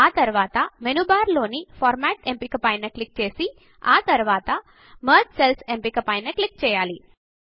ఆ తరువాత menu bar లోని ఫార్మాట్ ఎంపిక పైన క్లిక్ చేసి ఆ తరువాత మెర్జ్ సెల్స్ ఎంపిక పైన క్లిక్ చేయాలి